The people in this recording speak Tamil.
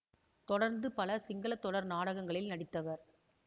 தொடர்ந்து பல சிங்கள தொடர் நாடகங்களில் நடித்தவர்